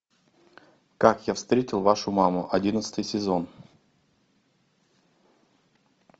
как я встретил вашу маму одиннадцатый сезон